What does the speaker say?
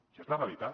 i és la realitat